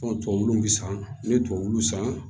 tubabuw bi san n'u ye tubabuw san